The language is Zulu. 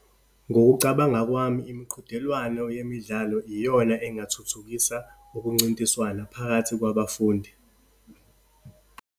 Ngokucabanga kwami, imiqhudelwano yemidlalo iyona engathuthukisa ukuncintiswana phakathi kwabafundi.